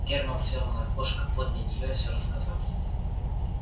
германн сел на окошко подле неё и всё рассказал